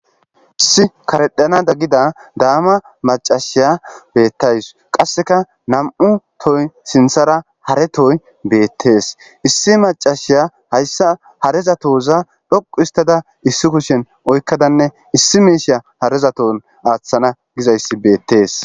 Issi karedhanada gid dama macashiya beetawusi , qaseka nam'u tohoy sinthara hare tohoyi beetesi , issi macashiya haysa hareza toza dhoqu histada hareza towa oykadanne issi misha hareza towan aathana guzaysi beetesi.